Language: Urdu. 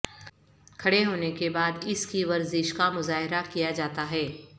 کھڑے ہونے کے بعد اس کی ورزش کا مظاہرہ کیا جاتا ہے